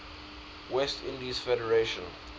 west indies federation